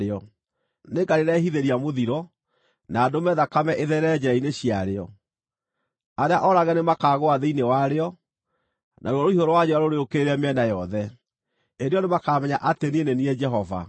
Nĩngarĩrehithĩria mũthiro, na ndũme thakame ĩtherere njĩra-inĩ ciarĩo. Arĩa oorage nĩmakaagũa thĩinĩ warĩo, naruo rũhiũ rwa njora rũrĩũkĩrĩre mĩena yothe. Hĩndĩ ĩyo nĩmakamenya atĩ niĩ nĩ niĩ Jehova.